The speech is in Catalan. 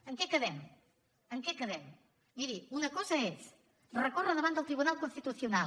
en què quedem en què quedem miri una cosa és recórrer davant del tribunal constitucional